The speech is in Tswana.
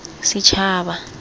setšhaba